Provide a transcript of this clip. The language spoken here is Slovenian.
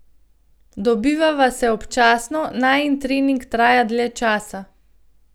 Dobivava se občasno, najin trening traja dlje časa.